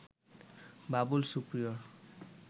Babul Superior